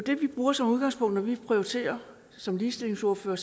bruger som udgangspunkt når vi prioriterer som ligestillingsordførere